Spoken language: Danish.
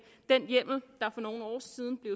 den hjemmel der for nogle år siden blev